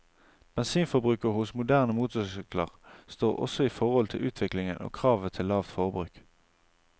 Bensinforbruket hos moderne motorsykler står også i forhold til utviklingen og kravet til lavt forbruk.